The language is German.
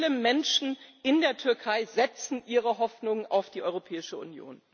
Viele Menschen in der Türkei setzen ihre Hoffnungen auf die Europäische Union.